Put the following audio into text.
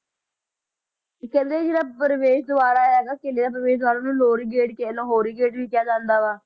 ਕਹਿੰਦੇ ਜਿਹੜਾ ਪਰਵੇਸ ਦਵਾਰ ਹੈਗਾ ਕਿਲ੍ਹੇ ਦਾ ਪਰਵੇਸ ਦਵਾਰ ਆ ਉਹਨੂੰ ਲਾਹੌਰੀ gate ਕਹਿ ਲਾਹੌਰੀ gate ਵੀ ਕਿਹਾ ਜਾਂਦਾ ਵਾ